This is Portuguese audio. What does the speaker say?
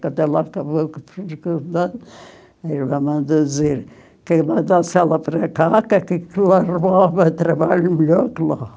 Quando ela acabou que mandou dizer que mandasse ela para cá, que aqui ela arrumava trabalho melhor que lá.